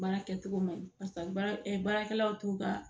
Baara kɛcogo man parisa baara baara kɛlaw t'u ka